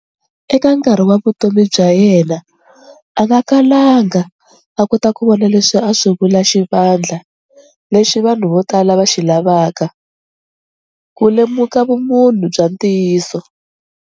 Eka nkarhi wa vutomi bya yena, a nga kalanga a kota ku vona leswi a swi vula 'xivandla lexi vanhu vo tala va xilavaka', ku lemuka vumunhu bya ntiyiso.